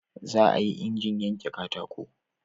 za a yi injin yanke katako